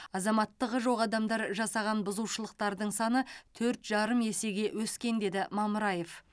азаматтығы жоқ адамдар жасаған бұзушылықтардың саны төрт жарым есеге өскен деді мамыраев